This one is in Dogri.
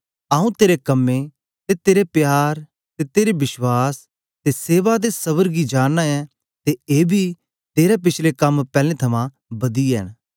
आऊँ तेरे कम्में तेरे प्यार ते बश्वास ते सेवा ते सबर गी जानना ऐ ते एबी के तेरे पिछले कम पैलैं थमां बदियै न